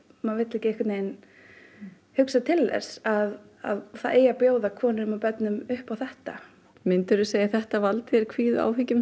maður vill ekki hugsa til þess að það eigi að bjóða konum og börnum upp á þetta myndirðu segja að þetta valdi þér kvíða og áhyggjum